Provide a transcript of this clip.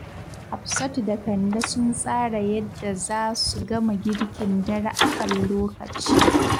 Hafsatu da Kande sun tsara yadda za su gama girkin dare a kan lokaci.